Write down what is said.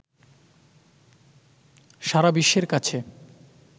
সারা বিশ্বের কাছে